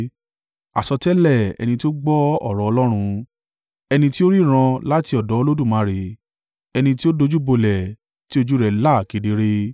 àsọtẹ́lẹ̀ ẹni tí ó gbọ́ ọ̀rọ̀ Ọlọ́run, ẹni tí ó ríran láti ọ̀dọ̀ Olódùmarè, ẹni tí ó dojúbolẹ̀, tí ojú rẹ̀ là kedere.